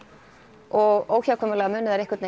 og óhjákvæmilega munu þær einhvern